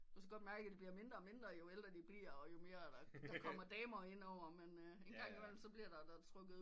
Måske godt mærke det bliver mindre og mindre jo ældre de bliver og jo mere der kommer damer ind over men engang imellem så bliver der da trukket